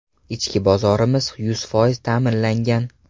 Ichki bozorimiz yuz foiz ta’minlangan.